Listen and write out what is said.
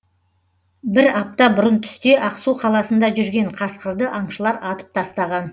бір апта бұрын түсте ақсу қаласында жүрген қасқырды аңшылар атып тастаған